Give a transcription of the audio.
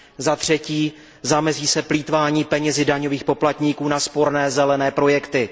Zatřetí, zamezí se plýtvání penězi daňových poplatníků na sporné zelené projekty.